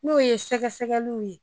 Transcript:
N'o ye sɛgɛsɛgɛliw ye